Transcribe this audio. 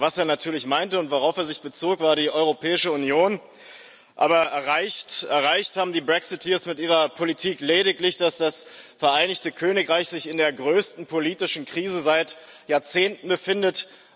Was er natürlich meinte und worauf er sich bezog, war die Europäische Union, aber erreicht haben die Brexiteers mit ihrer Politik lediglich, dass sich das Vereinigte Königreich in der größten politischen Krise seit Jahrzehnten befindet.